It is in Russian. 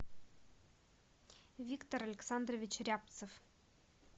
виктор александрович рябцев